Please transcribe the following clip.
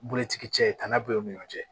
Bulutigi cɛ tana b'u ni ɲɔgɔn cɛ